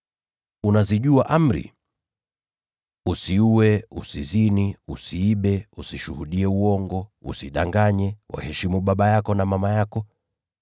Unazijua amri: ‘Usiue, usizini, usiibe, usishuhudie uongo, usidanganye, waheshimu baba yako na mama yako.’ ”